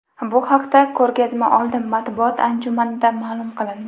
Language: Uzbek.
Bu haqda ko‘rgazmaoldi matbuot anjumanida ma’lum qilindi.